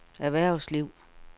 erhvervsliv